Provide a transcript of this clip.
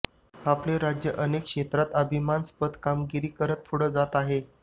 आपले राज्य अनेक क्षेत्रात अभिमानास्पद कामगिरी करत पुढे जात आहे